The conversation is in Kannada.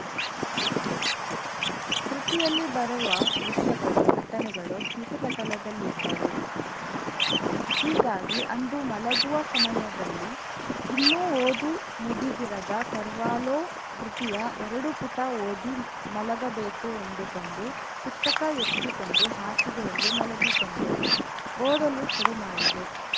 ಕೃತಿಯಲ್ಲಿ ಬರುವ ದೃಶ್ಯಗಳು ಘಟನೆಗಳು ಸ್ಮೃತಿಪಟಲದಲ್ಲಿದ್ದವು ಹೀಗಾಗಿ ಅಂದು ಮಲಗುವ ಸಮಯದಲ್ಲಿ ಇನ್ನೂ ಓದು ಮುಗಿದಿರದ ಕರ್ವಾಲೋ ಕೃತಿಯ ಎರಡು ಪುಟ ಓದಿ ಮಲಗಬೇಕು ಎಂದುಕೊಂಡು ಪುಸ್ತಕ ಎತ್ತಿಕೊಂಡು ಹಾಸಿಗೆಯಲ್ಲಿ ಮಲಗಿಕೊಂಡೆ ಓದಲು ಶುರು ಮಾಡಿದೆ